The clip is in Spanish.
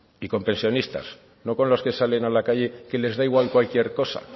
y con pensionistas no con los que salen a la calle que les da igual cualquier cosa